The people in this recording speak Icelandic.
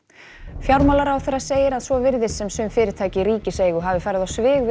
fjármálaráðherra segir að svo virðist sem sum fyrirtæki í ríkiseigu hafi farið á svig við